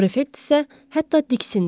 Prefekt isə hətta diksindi.